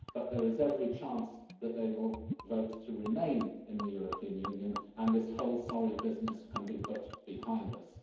But there is every chance that they will vote to remain in the European Union and this whole sorry business can be put behind us.